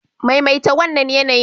Maimaita wannan yanayin.